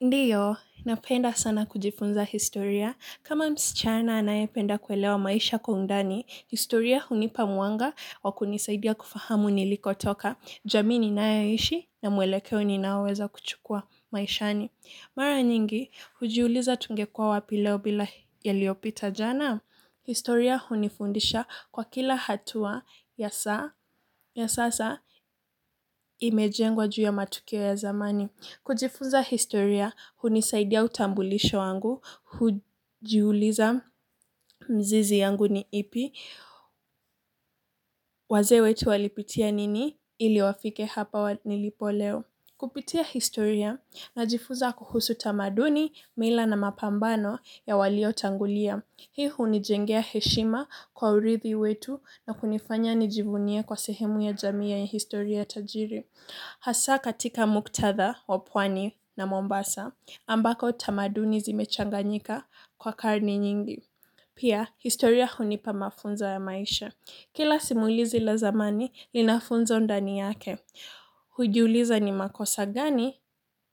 Ndiyo, napenda sana kujifunza historia. Kama msichana anayependa kuelewa maisha kwa undani, historia hunipa mwanga wa kunisaidia kufahamu nilikotoka. Jamii ninayoishi na mwelekeo ninaoweza kuchukua maishani. Mara nyingi, hujiuliza tungekuwa wapi leo bila yaliyopita jana. Historia hunifundisha kwa kila hatua ya sasa imejengwa juu ya matukio ya zamani. Kujifuza historia, hunisaidia utambulisho wangu, hujiuliza mzizi yangu ni ipi, wazee wetu walipitia nini, ili wafike hapa nilipo leo. Kupitia historia, najifunza kuhusu tamaduni, mila na mapambano ya waliotangulia. Hii hunijengea heshima kwa urithi wetu na kunifanya nijivunie kwa sehemu ya jamii ya ya historia tajiri. Hasa katika muktatha wa pwani na Mombasa ambako tamaduni zimechanganyika kwa karne nyingi. Pia historia hunipa mafunzo ya maisha. Kila simulizi la zamani linafunza undani yake. Hujiuliza ni makosa gani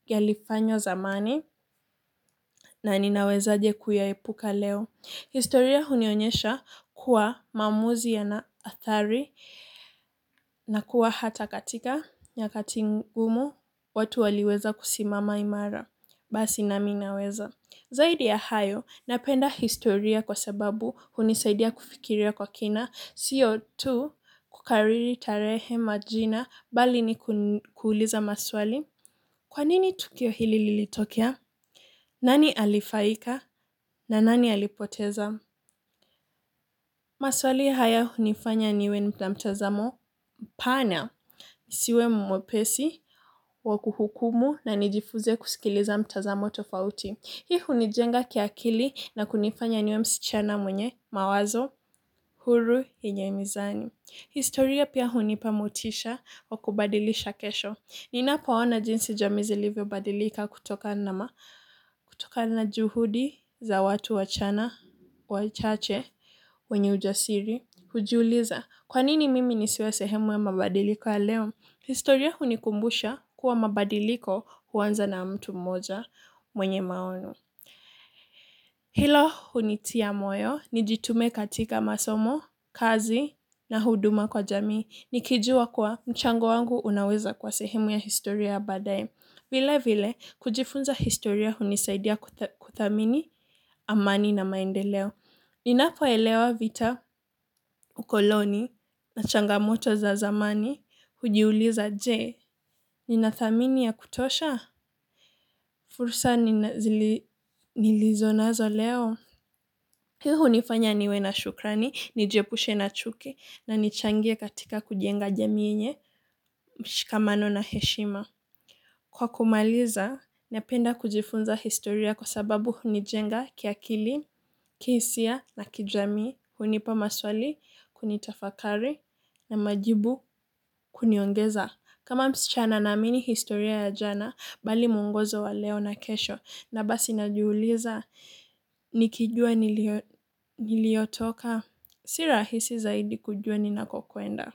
yalifanywa zamani na ninawezaje kuyaepuka leo. Historia hunionyesha kuwa maamuzi yana athari, na kuwa hata katika nyakati ngumu watu waliweza kusimama imara. Basi nami naweza. Zaidi ya hayo, napenda historia kwa sababu hunisaidia kufikiria kwa kina, sio tu kukariri tarehe na majina bali ni kuuliza maswali. Kwa nini tukio hili lilitokea? Nani alifaika? Na nani alipoteza? Maswali haya hunifanya niwe na mtazamo pana, nisiwe mwepesi wa kuhukumu na nijifunze kusikiza mitazamo tofauti. Hii hunijenga kiakili na kunifanya niwe msichana mwenye, mawazo, huru, yenye mizani. Historia pia hunipa motisha wa kubadilisha kesho. Ninapoona jinsi jamii zilivyo badilika kutoka na juhudi za watu wachana, wachache, wenye ujasiri. Hujiuliza, kwanini mimi nisiwe sehemu ya mabadiliko ya leo? Historia hunikumbusha kuwa mabadiliko huanza na mtu mmoja mwenye maono. Hilo hunitia moyo, nijitume katika masomo, kazi na huduma kwa jamii. Nikijua kuwa mchango wangu unaweza kwa sehemu ya historia baadaye. Vile vile, kujifunza historia hunisaidia kuthamini, amani na maendeleo. Ninapoelewa vita, ukoloni, na changamoto za zamani, hujiuliza je. Ninathamini ya kutosha? Fursa nilizo nazo leo? Hii hunifanya niwe na shukrani, niepushe chuki, na nichangie katika kujenga jamii yenye mshikamano na heshima. Kwa kumaliza, napenda kujifunza historia kwa sababu hunijenga kiakili, kihisia na kijamii, hunipa maswali, tafakari na majibu kuniongezea. Kama msichana, naamini historia si ya jana tu, bali ni mwongozo wa leo na kesho, na basi najiuliza, nikijua nilikotoka, ni rahisi zaidi kujua ninakokwenda.